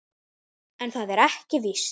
En það er ekki víst.